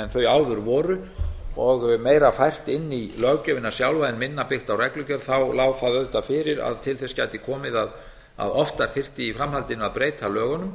en þau áður voru og meira fært inn í löggjöfina sjálfa en minna byggt á reglugerð lá það auðvitað fyrir að til þess gæti komið að oftar þyrfti í framhaldinu að breyta lögunum